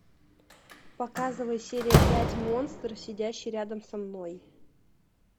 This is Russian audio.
показывай серия пять монстр сидящий рядом со мной